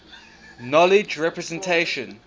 knowledge representation